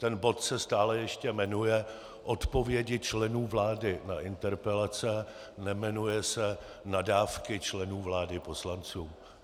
Ten bod se stále ještě jmenuje Odpovědi členů vlády na interpelace, nejmenuje se Nadávky členů vlády poslancům.